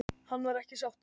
Hann var ekki sáttur.